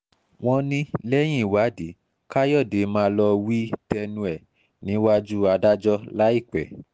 wọ́n ní lẹ́yìn ìwádìí káyọ̀dé máa lọ́ọ́ wí tẹnu ẹ̀ níwájú adájọ́ láìpẹ́